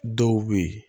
Dɔw bɛ yen